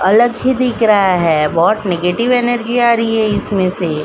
अलग ही दिख रहा है। बोहोत नेगटिव एनर्जी आ रही है इसमे से।